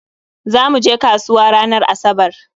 Zamu je kasuwa ranar Asabar